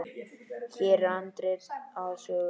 Hér er handrit að sögu.